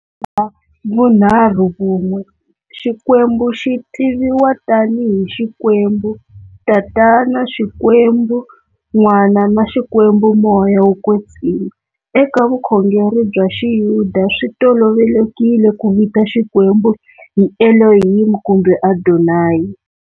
Bya vunharhuvun'we, xikwembu xi tiviwa tani hi Xikwembu-Tatana, Xikwembu-N'wana na Xikwembu-Moya wo kwetsima. Eka vukhongeri bya Xiyuda, swi tolovelekile ku vita Xikwembu hi Elohim kumbe Adonai.